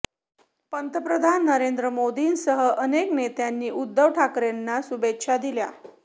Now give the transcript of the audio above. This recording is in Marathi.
पंतप्रधान नरेंद्र मोदींसह अनेक नेत्यांनी उद्धव ठाकरेंना शुभेच्छा दिल्या